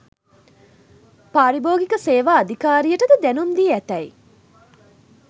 පාරිභෝගික සේවා අධිකාරියටද දැනුම් දී ඇතැයි